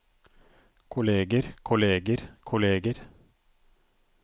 kolleger kolleger kolleger